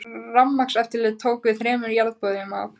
Rafmagnseftirlitið tók við þremur jarðborum af